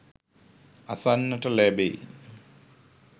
අසන්නට ලැබෙයි.